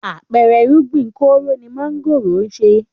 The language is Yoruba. Àpẹẹrẹ irúgbìn kóró ni mángòrò ń ṣe.